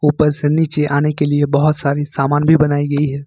ऊपर से नीचे आने के लिए बहुत सारी सामान भी बनाई गई है।